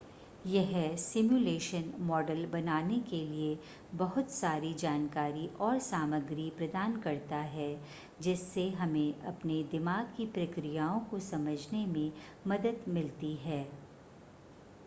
यह simulation model बनाने के लिए बहुत सारी जानकारी और सामग्री प्रदान करता है जिससे हमें अपने दिमाग की प्रक्रियाओं को समझने में मदद मिलती है